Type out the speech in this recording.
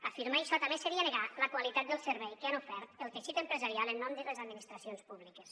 afirmar això també seria negar la qualitat del servei que han ofert el teixit empresarial en nom de les administracions públiques